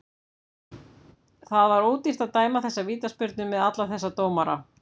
Það var ódýrt að dæma þessa vítaspyrnu með alla þessa dómara.